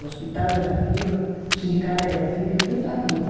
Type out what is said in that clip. O hospital era da firma, o sindicato era da firma, tudo da firma.